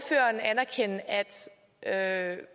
at